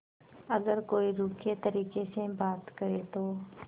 अगर कोई रूखे तरीके से बात करे तो